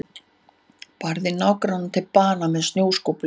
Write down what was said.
Barði nágrannann til bana með snjóskóflu